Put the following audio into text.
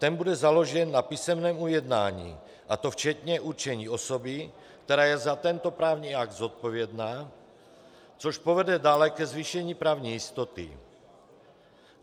Ten bude založen na písemném ujednání, a to včetně určení osoby, která je za tento právní akt zodpovědná, což povede dále ke zvýšení právní jistoty.